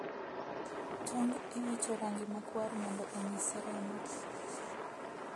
Tong' iwicho rangi makwar mondo onyis remo ,